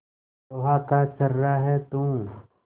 लोहा का छर्रा है तू